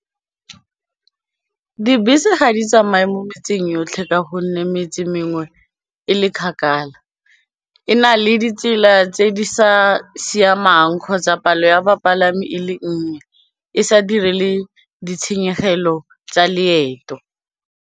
Dibese ga di tsamaye mo metseng yotlhe ka gonne metse mengwe e le kgakala e na le ditsela tse di sa siamang kgotsa palo ya bapalami e le nnye e sa dire le ditshenyegelo tsa leeto.